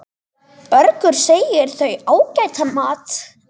Bergur segir þau ágætan mat.